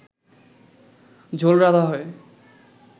ঝোল রাঁধা হয়